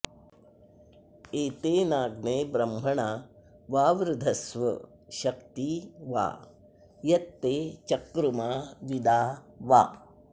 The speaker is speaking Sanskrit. एतेनाग्ने ब्रह्मणा वावृधस्व शक्ती वा यत्ते चकृमा विदा वा